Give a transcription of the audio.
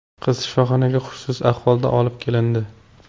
Qiz shifoxonaga hushsiz ahvolda olib kelindi.